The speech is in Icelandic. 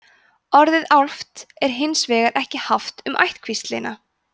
orðið álft er hins vegar ekki haft um ættkvíslina